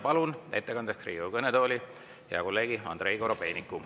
Palun ettekandeks Riigikogu kõnetooli hea kolleegi Andrei Korobeiniku.